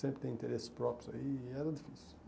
Sempre tem interesses próprios aí, e era difícil.